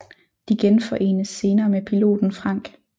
De genforenes senere med piloten Frank